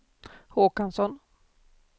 Håkansson